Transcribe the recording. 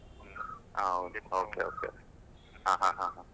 ಹೌದು okay okay ಹಾ ಹಾ ಹಾ ಹಾ.